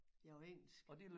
Ja på engelsk